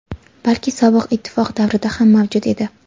balki Sobiq ittifoq davrida ham mavjud edi.